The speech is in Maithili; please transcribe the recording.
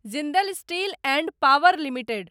Jindal steel and power limited